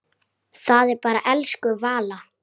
Það er bara elsku Vala.